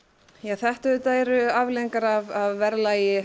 þetta auðvitað eru afleiðingar af verðlagi